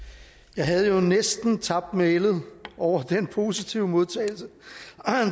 jeg havde jo næsten tabt mælet over den positive modtagelse